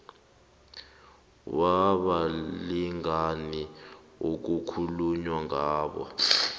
wabalingani okukhulunywa ngabo